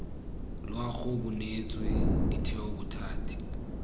loago bo neetswe ditheo bothati